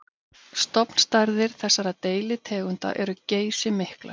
Stofnstærðir þessara deilitegunda eru geysimiklar.